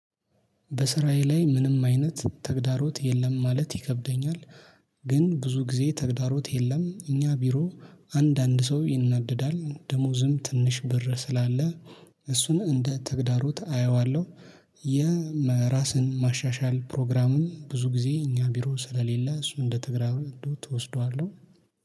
በስራዬ ላይ ምንም አይነት ተግዳሮት የለም ማለት ይከብደኛል። ግን ብዙ ጊዜ ተግዳሮት የለም እኛ ቢሮ አንድ አንድ ሰው ይናደዳል ደሞዝም ትንሽ ብር ስላለ እሱን እንደ ተግዳሩት አየዋለሁ። የራስን ማሻሻል ፕሮግራምን ብዙ ጊዜ እኛ ቢሮ ስለሌለ እሱ እንደ ተግዳሮት እወስደዋለሁ